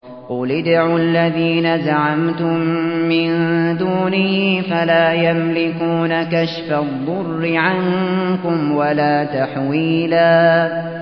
قُلِ ادْعُوا الَّذِينَ زَعَمْتُم مِّن دُونِهِ فَلَا يَمْلِكُونَ كَشْفَ الضُّرِّ عَنكُمْ وَلَا تَحْوِيلًا